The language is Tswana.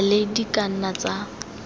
gale di ka nna tsa